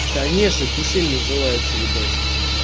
конечно кисель называется ебать